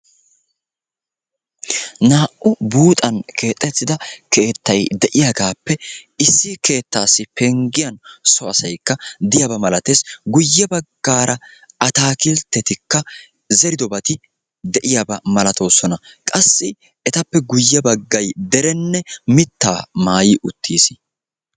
Naa"u buuxan keexettida keettay de'iyaagappe issi keettassi penggiyaa so asaykka de'iyaaba malatees. guye baggaara ataakilitetti zeridobati de'iyaaba malatoosona. qassi etappe guye baggay derenne mittaa maayi uttiis.